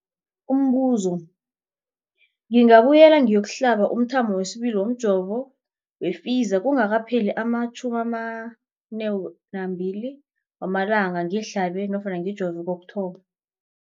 Umbuzo, ngingabuyela ngiyokuhlaba umthamo wesibili womjovo we-Pfizer kungakapheli ama-42 wamalanga ngihlabe nofana ngijove kokuthoma.